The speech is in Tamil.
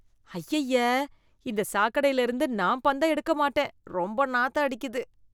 அய்யய்ய! இந்த சாக்கடைல இருந்து நான் பந்த எடுக்க மாட்டேன். ரொம்ப நாத்தம் அடிக்குது